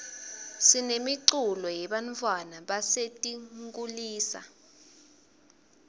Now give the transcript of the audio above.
sinemiculo yebantfwana basetinkulisa